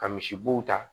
Ka misibow ta